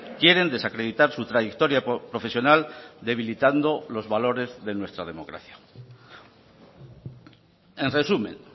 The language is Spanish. quieren desacreditar su trayectoria profesional debilitando los valores de nuestra democracia en resumen